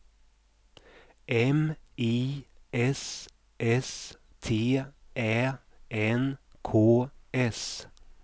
M I S S T Ä N K S